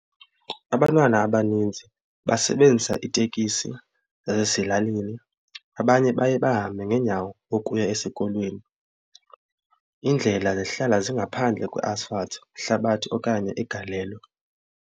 Abantwana abaninzi basebenzisa itekisi ezase lalini abanye baye bahambe ngeenyawo ukuya esikolweni. Iindlela zihlala zingaphandle kwe-asphalt ihlabathi okanye igalelo.